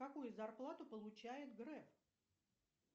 какую зарплату получает греф